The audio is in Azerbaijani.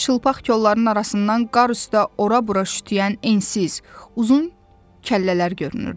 Çılpaq kolların arasından qar üstdə ora-bura şütüyən ensiz, uzun kəllələr görünürdü.